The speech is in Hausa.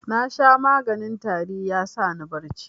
Nasha maganin tari ya sani bacci.